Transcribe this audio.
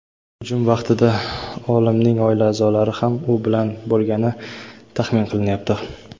hujum vaqtida olimning oila a’zolari ham u bilan bo‘lgani taxmin qilinyapti.